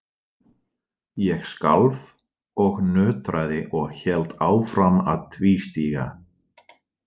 Ég skalf og nötraði og hélt áfram að tvístíga.